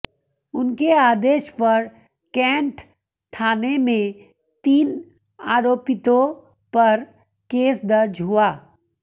उनके आदेश पर कैंट थाने में तीन आरोपितों पर केस दर्ज हुआ